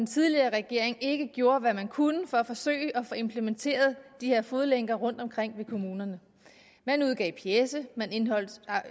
tidligere regering ikke gjorde hvad man kunne for at forsøge at få implementeret de her fodlænker rundtomkring i kommunerne man udgav pjece man